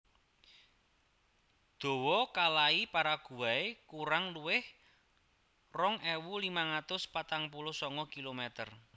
Dawa kalai Paraguay kurang luwih rong ewu limang atus patang puluh sanga kilometer